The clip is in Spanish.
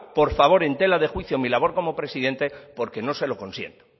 por favor en tela de juicio mi labor como presidente porque no se lo consiento